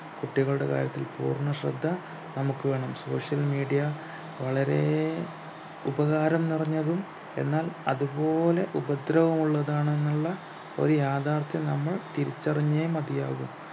കുട്ടികളുടെ കാര്യത്തിൽ പൂർണശ്രദ്ധ നമുക്ക് വേണം social media വളരെ ഉപകാരം നിറഞ്ഞതും എന്നാൽ അതുപോലെ ഉപദ്രവമുള്ളതാണെന്നുള്ള ഒരു യാഥാർത്ഥ്യം നമ്മൾ തിരിച്ചറിഞ്ഞെ മതിയാവു